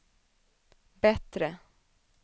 bättre